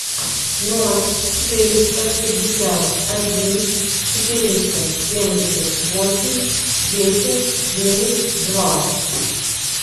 ноль четыреста пятьдесят один четыреста семьдесят восемь десять девять два